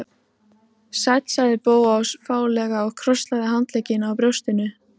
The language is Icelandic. Sæll sagði Bóas fálega og krosslagði handleggina á brjóstinu.